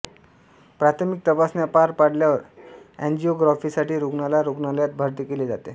प्राथमिक तपासण्या पार पाडल्यावर एंजिओग्राफीसाठी रुग्णाला रुग्णालयात भरती केले जाते